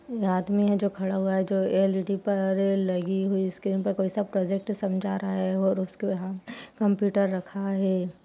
ये आदमी है जो खड़ा हुआ है जो एल_ई_डी पर लगी हुई स्क्रीन पर कोई सा प्रोजेक्ट समझा रहा है और उसके यहाँ कंप्यूटर रखा है।